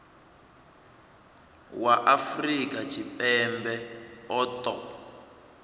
wa afrika tshipembe a ṱo